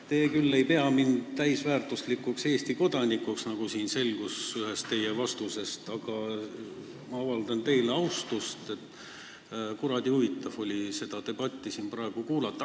Te küll ei pea mind täisväärtuslikuks Eesti kodanikuks, nagu selgus ühest teie vastusest, aga ma avaldan teile austust, sest kuradi huvitav on olnud seda debatti siin praegu kuulata.